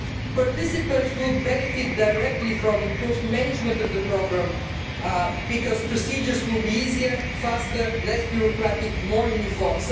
Participants will benefit directly from improved management of the programme because procedures will be easier, faster, less bureaucratic, more uniform.